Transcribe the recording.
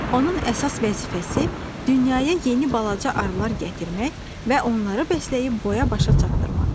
Onun əsas vəzifəsi dünyəyə yeni balaca arılar gətirmək və onları bəsləyib boya-başa çatdırmaqdır.